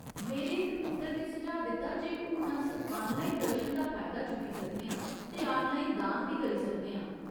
मेरे इक मित्तर ने सुझाऽ दित्ता जे हून अस आनलाइन दर्शन दा फायदा चुक्की सकने आं ते आनलाइन दान बी करी सकने आं।